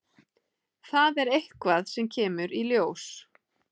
Það er eitthvað sem kemur í ljós.